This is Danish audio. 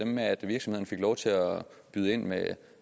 byde ind med